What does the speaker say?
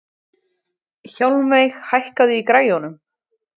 Hjálmveig, hækkaðu í græjunum.